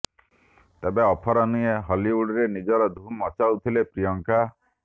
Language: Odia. ତେବେ ଅଫର ନୁହେଁ ହଲିଉଡରେ ନିଜର ଧୁମ୍ ମଚାଉଥିଲେ ପ୍ରିୟଙ୍କା